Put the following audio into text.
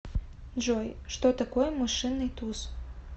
джой что такое мышиный туз